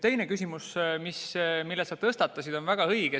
Teine küsimus, mille sa tõstatasid, on väga õige.